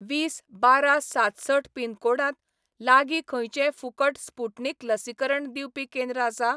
वीस बारा सातसठ पिनकोडांत लागीं खंयचेंय फुकट स्पुटनिक लसीकरण दिवपीू केंद्र आसा?